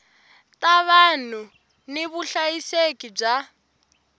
ta vanhu ni vuhlayiseki bya